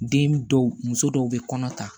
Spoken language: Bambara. Den dɔw muso dɔw bɛ kɔnɔ ta